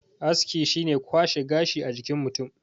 aski shi ne kwashe gashi a jikin mutum